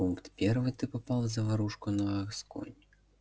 пункт первый ты попал в заварушку на аскони